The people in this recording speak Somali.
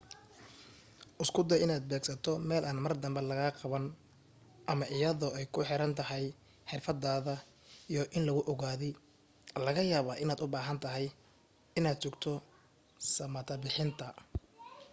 isku day inaad beegsato meel aan mar dambe lagaa qaban ama iyadoo ay ku xirantahay xirfadaada iyo in lagu ogaaday laga yaabaa inaad ubaahantahay in aad sugto samata-bixinta